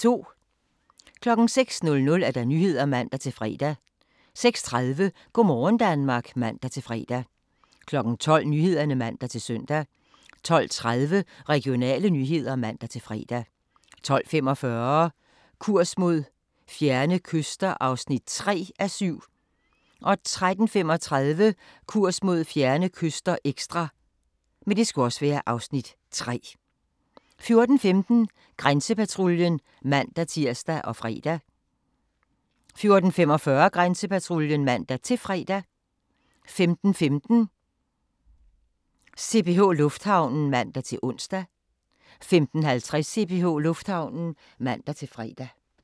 06:00: Nyhederne (man-fre) 06:30: Go' morgen Danmark (man-fre) 12:00: Nyhederne (man-søn) 12:30: Regionale nyheder (man-fre) 12:45: Kurs mod fjerne kyster (3:7) 13:35: Kurs mod fjerne kyster – ekstra (Afs. 3) 14:15: Grænsepatruljen (man-tir og fre) 14:45: Grænsepatruljen (man-fre) 15:15: CPH Lufthavnen (man-ons) 15:50: CPH Lufthavnen (man-fre)